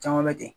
Caman wɛrɛ ten